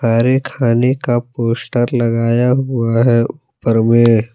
खाने का पोस्टर लगाया हुआ है ऊपर मे-